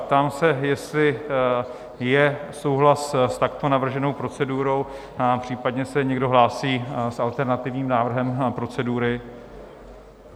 Ptám se, jestli je souhlas s takto navrženou procedurou, případně se někdo hlásí s alternativním návrhem procedury?